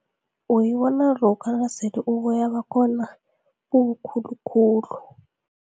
Uyibona lokha nasele uboya bakhona bubukhulukhulu.